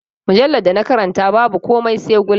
Mujallar da na karanta babu komai sai gulma.